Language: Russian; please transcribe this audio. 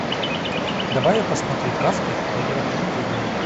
давай я посмотрю каспер доброе привидение